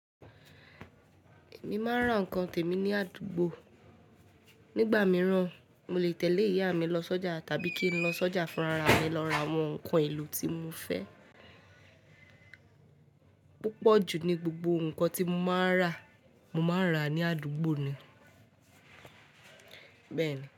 Mi máa ń ra nǹkan tèmi ní àdúgbò. Nígbà mìíràn, mo lè tẹ̀lé ìyá mi lọ sọ́jà tàbí kí n lọ sọ́jà fúnra ra mi lọ ra àwọn nǹkan èlò tí mo fẹ́. Púpọ̀ jù ní gbogbo nǹkan tí mo máa rà, mo máa rà ní àdúgbò ni. Bẹ́ẹ̀ni.